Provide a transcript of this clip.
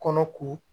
Kɔnɔ ko